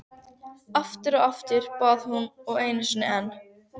Aftur og aftur, bað hún og einu sinni enn.